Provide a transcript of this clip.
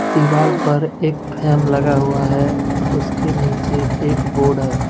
दीवाल पर एक फैम लगा हुआ है उसके नीचे एक बोर्ड है।